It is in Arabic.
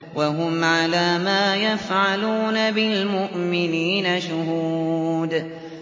وَهُمْ عَلَىٰ مَا يَفْعَلُونَ بِالْمُؤْمِنِينَ شُهُودٌ